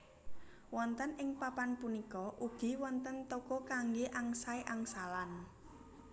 Wonten ing papan punika ugi wonten toko kanggé angsai angsalan